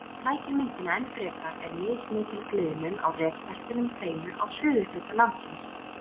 Það sem flækir myndina enn frekar er mismikil gliðnun á rekbeltunum tveimur á suðurhluta landsins.